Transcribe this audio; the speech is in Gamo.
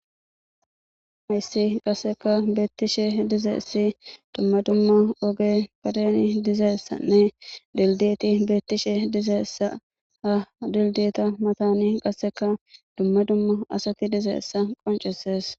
hayssi qasseka beettishe dizeessi dumma dumma oge padeni dizeessanne dildeti beettishe dizeessa ha dildeeta matani qasseka dumma dumma asatti dizeessa qoncesees